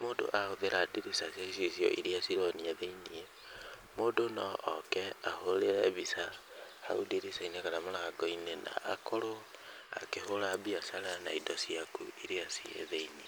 mũndũ ahũthĩra ndirica cia icicio irĩa cironia thĩinĩ, mũndũ no oke ahũrĩre mbica hau ndirica-inĩ kana rũthingo-inĩ na akorwo akĩhũra biacara na indo ciaku irĩa ciĩ thĩinĩ.